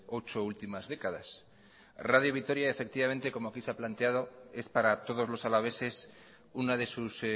ocho últimas décadas radio vitoria efectivamente como aquí se ha planteado es para todos los alaveses una de sus